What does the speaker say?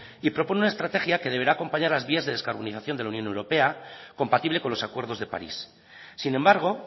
y propone una estrategia que deberá acompañar las vías de descarbonización de la unión europea compatible con los acuerdos de paris sin embargo